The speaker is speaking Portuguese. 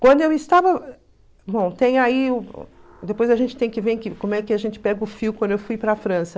Quando eu estava... Bom, tem aí... Depois a gente tem que ver como é que a gente pega o fio quando eu fui para a França.